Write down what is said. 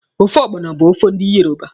Ofe ọgbọnọ bụ ofe ndi Yoruba.